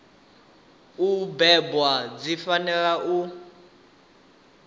u bebwa dzi fanela u